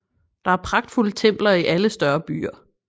Der er pragtfulde templer i alle større byer